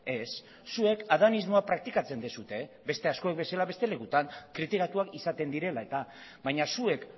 ez zuek adanismoa praktikatzen duzue beste askok bezala beste lekutan kritikatuak izaten direla eta baina zuek